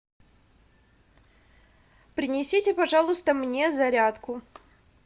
принесите пожалуйста мне зарядку